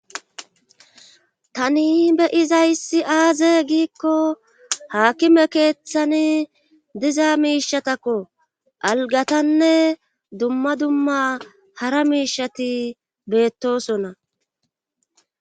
Tani beyizayssi aaze giikko haakime keeththani diza miishatakko algatanne dumma dumma hara miishati beettosona.